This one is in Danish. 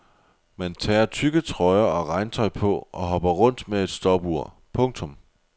Man tager tykke trøjer og regntøj på og hopper rundt med et stopur. punktum